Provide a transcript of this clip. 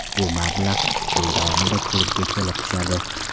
Bu mablag‘ yil davomida klubga kelib tushadi.